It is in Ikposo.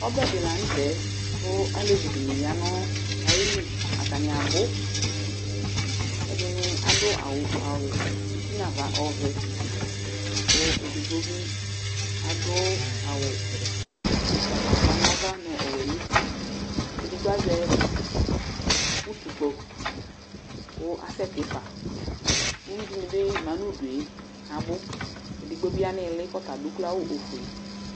Ɔbɛ dɩ la nʋ tɛ kʋ alevi dɩnɩ ya nʋ ayili ,atanɩ abʋɛdɩnɩ adʋ awʋ uti nava ɔvɛ, akʋ edigbo bɩ adʋ awʋ ʋgbatawla nava nʋ ɔwɛ nuti ; edigbo azɛ utukpo kʋ asɛtɩ faUyui dɩnɩ bɩ ma nʋ udue, edigbo bɩ ya n 'ɩɩlɩ kʋ ɔtadʋ ukloawʋ ofue